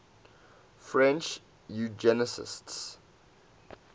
french eugenicists